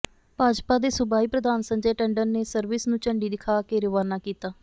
ਭਾਜਪਾ ਦੇ ਸੂਬਾਈ ਪ੍ਰਧਾਨ ਸੰਜੈ ਟੰਡਨ ਨੇ ਸਰਵਿਸ ਨੂੰ ਝੰਡੀ ਦਿਖਾ ਕੇ ਰਵਾਨਾ ਕੀਤਾ